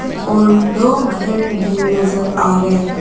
और दो घर भी नजर आ रहे।